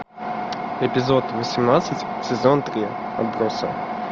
эпизод восемнадцать сезон три отбросы